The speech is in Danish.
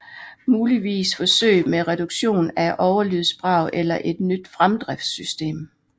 Muligvis forsøg med reduktion af overlydsbrag eller et nyt fremdriftssystem